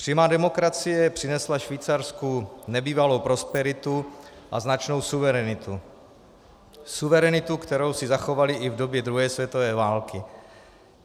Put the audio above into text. Přímá demokracie přinesla Švýcarsku nebývalou prosperitu a značnou suverenitu, suverenitu, kterou si zachovali i v době druhé světové války.